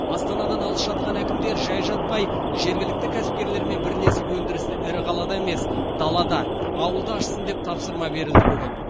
астанадан алыс жатқан әкімдер жай жатпай жергілікті кәсіпкерлермен бірлесіп өндірісті ірі қалада емес далада ауылда ашсын деп тапсырма берілді бүгін